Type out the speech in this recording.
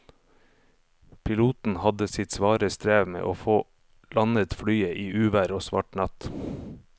Piloten hadde sitt svare strev med å få landet flyet i uvær og svart natt.